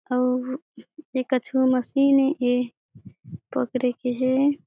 अउ ए कछु मशीन ये पकड़े के हे।